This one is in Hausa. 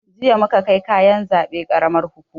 Jiya muka kai kayan zaɓe karamar hukuma